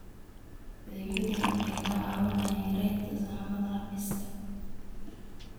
Adeegyadani waxay kaa caawinayaan yaraynta saxmadda xafiiska.